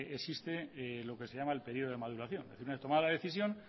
existe lo que se llama el periodo de maduración y una vez tomada la decisión